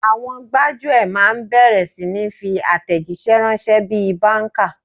Àwọn gbájúẹ̀ máa bẹ̀rẹ̀ sí ni fi àtẹ̀jíṣẹ́ ránṣẹ́ bí i báńkà.